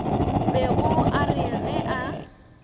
bego a re ge a